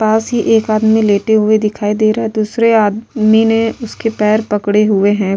पास ही एक आदमी लेटे हुए दिखाई दे रहा है दूसरे आदमी ने उसके पैर पकड़े हुए हैं।